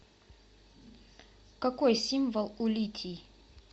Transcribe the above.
какой символ у литий